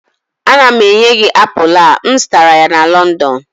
Ana m enye gị apụl a, m zụtara ya na London